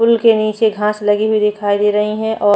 pool के नीचे घास लगी हुई दिखाई दे रही है और --